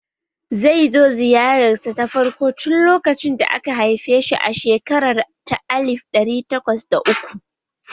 Zai zo ziyararsa ta farko tun lokacin da aka haife shi a shekara ta alif ɗari takwas da uku